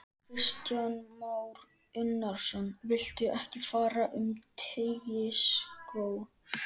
Kristján Már Unnarsson: Viltu enn fara um Teigsskóg?